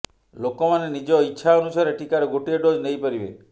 ଲୋକମାନେ ନିଜ ଇଚ୍ଛା ଅନୁସାରେ ଟିକାର ଗୋଟିଏ ଡୋଜ୍ ନେଇପାରିବେ